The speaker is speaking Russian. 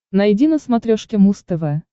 найди на смотрешке муз тв